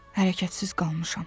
Hərəkətsiz qalmışam.